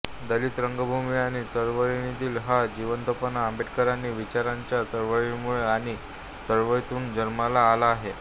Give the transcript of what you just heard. दलित रंगभूमी आणि चळवळीतील हा जिवंतपणा आंबेडकरी विचारांच्या चळवळीमुळे आणि चळवळीतून जन्माला आला आहे